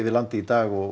landið í dag og